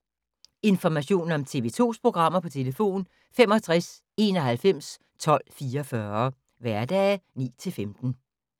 Information om TV 2's programmer: 65 91 12 44, hverdage 9-15.